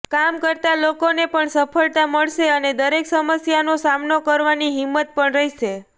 કામ કરતા લોકોને પણ સફળતા મળશે અને દરેક સમસ્યાનો સામનો કરવાની હિંમત પણ રહેશે